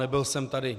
Nebyl jsem tady.